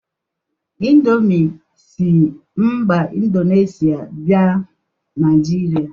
Indomi si mba Indonesia bia Naijiria.